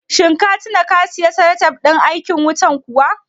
Shin ka tina ka siyo salatif ɗin aikin wutan kuwa?